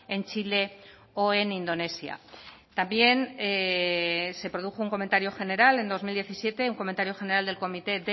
en chile o en indonesia también se produjo un comentario general en dos mil diecisiete un comentario general del comité